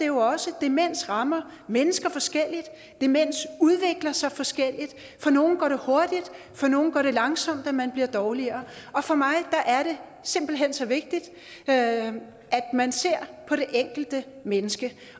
jo også at demens rammer mennesker forskelligt demens udvikler sig forskelligt for nogle går det hurtigt og for nogle går det langsomt at man bliver dårligere og for mig er det simpelt hen så vigtigt at man ser på det enkelte menneske